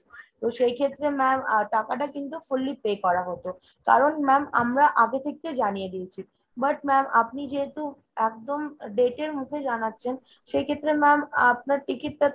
তো সেই ক্ষেত্রে ma'am আ টাকাটা কিন্তু fully pay করা হতো। কারণ ma'am আমরা আগে থেকে জানিয়ে দিয়েছি। but ma'am আপনি যেহেতু একদম date এর মুখে জানাচ্ছেন সেক্ষেত্রে ma'am আপনার ticket টাতো